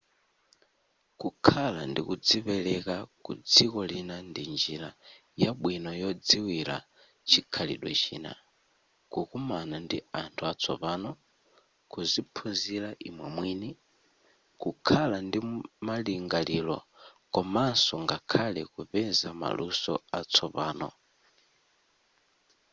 kukhala ndi kudzipereka kudziko lina ndi njira yabwino yodziwira chikhalidwe china kukumana ndi anthu atsopano kuziphunzira imwe mwini kukhala ndi malingaliro komanso ngakhale kupeza maluso atsopano